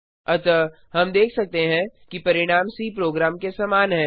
अतः हम देखते हैं कि परिणाम सी प्रोग्राम के समान हैं